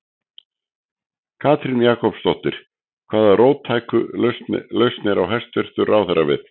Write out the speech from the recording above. Katrín Jakobsdóttir: Hvaða róttæku lausnir á hæstvirtur ráðherra við?